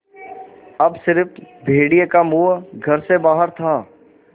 अब स़िर्फ भेड़िए का मुँह घर से बाहर था